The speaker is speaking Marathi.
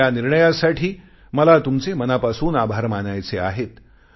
म्हणून या निर्णयासाठी मला तुमचे मनापासून आभार मानायचे आहेत